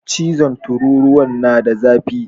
Cizon tururuwan na da zafi sosai.